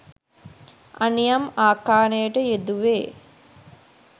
අනියම් ආකාරයට යෙදුවේ